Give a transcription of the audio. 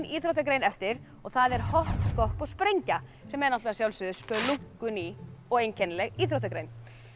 íþróttagrein eftir og það er hopp skopp og sprengja sem er að sjálfsögðu splunkuný og einkennileg íþróttagrein